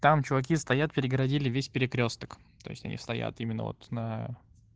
там чуваки стоят перегородили весь перекрёсток то есть они стоят именно вот на